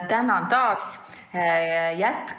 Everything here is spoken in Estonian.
Tänan taas!